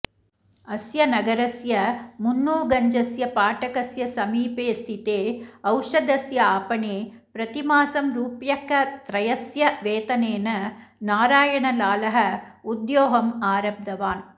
अस्य नगरस्य मुन्नूगञ्जस्य फाटकस्य समीपे स्थिते औषधस्य आपणे प्रतिमासं रूप्यकत्रयस्य वेतनेन नारायणलालः उद्योगम् आरब्धवान्